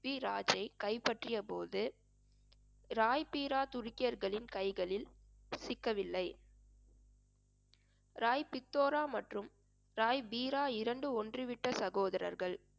பிரித்விராஜை கைப்பற்றியபோது ராய் பீரா துருக்கியர்களின் கைகளில் சிக்கவில்லை ராய் பித்தோரா மற்றும் ராய் பீரா இரண்டு ஒன்று விட்ட சகோதரர்கள்